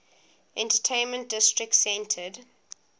entertainment district centered